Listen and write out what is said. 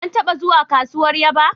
An taba zuwa kasuwar Yaba